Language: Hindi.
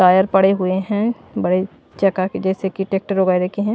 टायर पड़े हुए हैं बड़े चका के जैसे कि ट्रैक्टर वगैरह के--